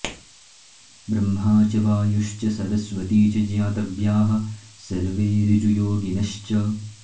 ब्रह्मा च वायुश्च सरस्वती च ज्ञातव्याः सर्वे ऋजुयोगिनश्च